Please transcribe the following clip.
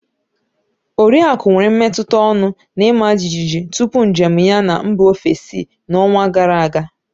Oriaku nwere mmetụta ọñụ na ịma jijiji tupu njem ya na mba ofesi na ọnwa gara aga